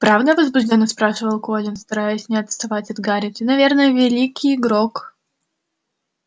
правда возбуждённо спрашивал колин стараясь не отставать от гарри ты наверное великий игрок